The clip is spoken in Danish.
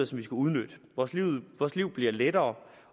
skal udnytte vores liv bliver lettere